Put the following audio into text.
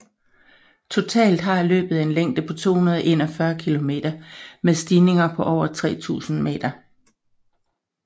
Totalt har løbet en længde på 241 km med stigninger på over 3000 meter